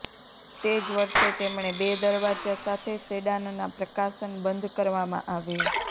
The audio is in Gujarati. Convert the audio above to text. તે જ વર્ષે તેમણે બે દરવાજા સાથે સેડાન ના પ્રકાશન બંધ કરવામાં આવ્યું